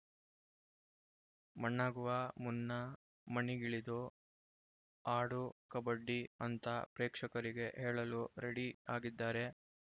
ಮಣ್ಣಾಗುವ ಮುನ್ನ ಮಣ್ಣಿಗಿಳಿದು ಆಡು ಕಬಡ್ಡಿ ಅಂತ ಪ್ರೇಕ್ಷಕರಿಗೆ ಹೇಳಲು ರೆಡಿ ಆಗಿದ್ದಾರೆ